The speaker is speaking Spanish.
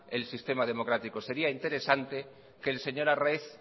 el sistema democrático sería interesante que el señor arraiz